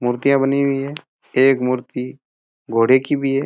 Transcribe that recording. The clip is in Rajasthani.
मूर्तियाँ बनी हुई है एक मूर्ति घोड़े की भी हैं।